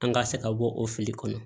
An ka se ka bɔ o fili kɔnɔ